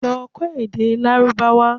Lọ kọ́ èdè Lárúbáwá!